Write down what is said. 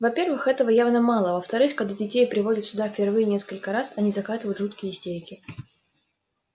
во-первых этого явно мало а во-вторых когда детей приводят сюда первые несколько раз они закатывают жуткие истерики